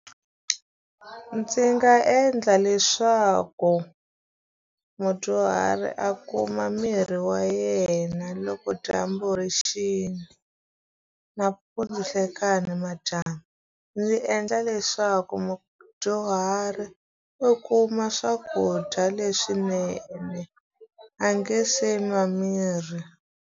Ndzi nga endla leswaku mudyuhari a kuma mirhi ya yena loko dyambu ri xile, nampundzu, nhlekani, madyambu. Ndzi endla leswaku mudyuhari u kuma swakudya leswinene a nge se nwa mirhi.